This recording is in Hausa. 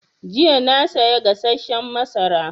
Jiya na saya gasasshen mazara